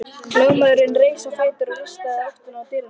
Lögmaðurinn reis á fætur og rigsaði í áttina til dyranna.